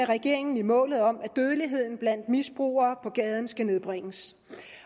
regeringen i målet om at dødeligheden blandt misbrugere på gaden skal nedbringes